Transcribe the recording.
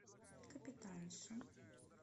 капитанша